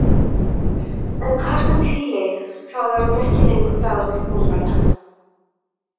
En hvað sem því leið, þá var þetta ekki lengur dagur til bónorða.